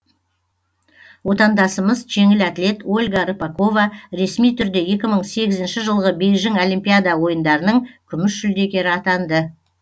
отандасымыз жеңіл атлет ольга рыпакова ресми түрде екі мың сегізінші жылғы бейжің олимпиада ойындарының күміс жүлдегері атанды